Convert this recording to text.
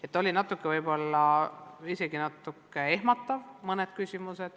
Aga jah, mõned küsimused olid võib-olla natuke ehmatavad.